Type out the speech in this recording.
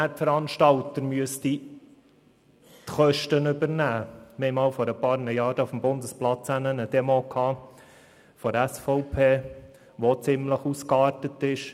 Wir hatten vor einigen Jahren eine Demo der SVP auf dem Bundesplatz, die ziemlich ausgeartet ist.